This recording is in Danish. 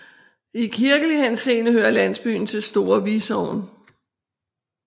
I kirkelig henseende hører landsbyen til Store Vi Sogn